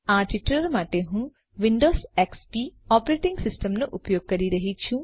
આ ટ્યુટોરીયલ માટે હું વિન્ડોઝ એક્સપી ઓપરેટીંગ સિસ્ટમનો ઉપયોગ કરી રહી છું